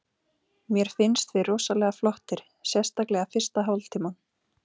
Mér finnst við rosalega flottir, sérstaklega fyrsta hálftímann.